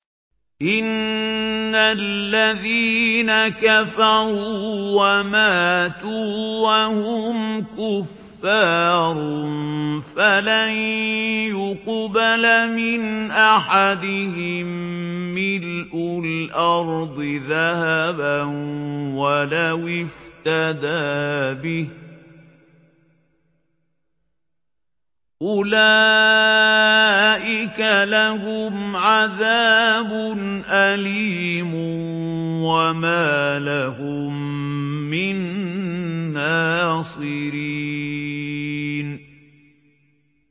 إِنَّ الَّذِينَ كَفَرُوا وَمَاتُوا وَهُمْ كُفَّارٌ فَلَن يُقْبَلَ مِنْ أَحَدِهِم مِّلْءُ الْأَرْضِ ذَهَبًا وَلَوِ افْتَدَىٰ بِهِ ۗ أُولَٰئِكَ لَهُمْ عَذَابٌ أَلِيمٌ وَمَا لَهُم مِّن نَّاصِرِينَ